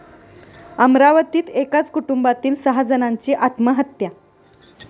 अमरावतीत एकाच कुटुंबातील सहा जणांची आत्महत्या